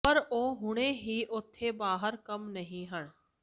ਪਰ ਉਹ ਹੁਣੇ ਹੀ ਉਥੇ ਬਾਹਰ ਕੰਮ ਨਹੀ ਹਨ